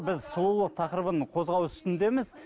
біз сұлулық тақырыбын қозғау үстіндеміз